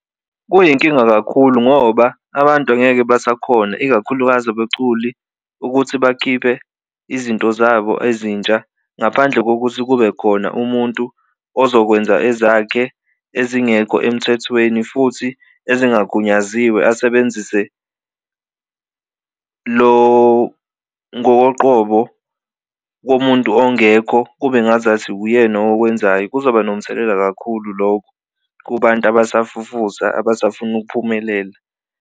Kuyinkinga kakhulu ngoba abantu angeke basakhona ikakhulukazi abaculi ukuthi bakhiphe izinto zabo ezintsha ngaphandle kokuthi kube khona umuntu ozokwenza ezakhe ezingekho emthethweni, futhi engagunyaziwe asebenzise lo ngokoqobo komuntu ongekho kube ngazathi uyena okwenzayo. Kuzoba nomthelela kakhulu kubantu abasafufusa abasafuna ukuphumelela.